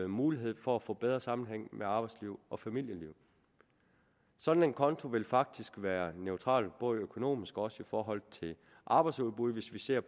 mulighed for at få bedre sammenhæng mellem arbejdsliv og familieliv sådan en konto vil faktisk være neutral både økonomisk og i forhold til arbejdsudbuddet hvis vi ser